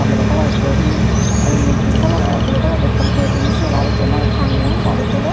blek kalaro politin aro indi green kalaror aro blue kalaror ekkan politin sei parir jiyen nahi tangeyon gajot toley.